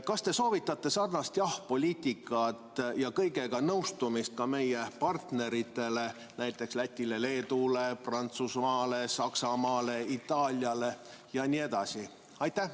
Kas te soovitate sarnast jah‑poliitikat ja kõigega nõustumist ka meie partneritele, näiteks Lätile, Leedule, Prantsusmaale, Saksamaale, Itaaliale jne?